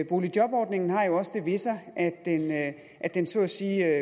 boligjobordningen har jo også det ved sig at den så at sige